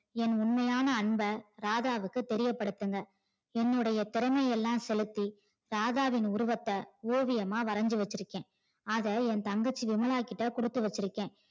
என் உண்மையான அன்ப ராதாவுக்கு தெரியப்படுத்துங்க என்னுடையை திறமை எல்லாம் செலுத்தி ராதாவின் உருவத்தை ஓவியமாக வரைந்து வச்சிருக்கேன். அதை என் தங்கச்சி விமலா கிட்ட கொடுத்து வச்சிருக்கேன்.